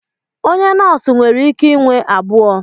Onye nọọsụ nwere ike inwe abụọ.